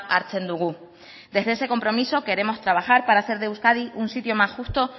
hartzen dugu desde ese compromiso queremos trabajar para hacer de euskadi un sitio más justo